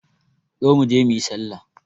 Zo mu je mu yi sallah.